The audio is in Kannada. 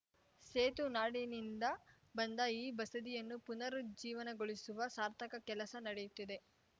ಸೇತುನಾಡಿನಿಂದ ಬಂದ ಈ ಬಸದಿಯನ್ನು ಪುನರುಜ್ಜೀವನಗೊಳಿಸುವ ಸಾರ್ಥಕ ಕೆಲಸ ನಡೆಯುತ್ತಿದೆ